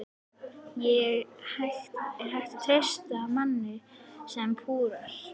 Er hægt að treysta manni sem púar?